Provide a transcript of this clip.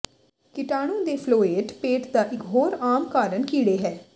ਕੀਟਾਣੂ ਦੇ ਫਲੋਏਟ ਪੇਟ ਦਾ ਇਕ ਹੋਰ ਆਮ ਕਾਰਨ ਕੀੜੇ ਹੈ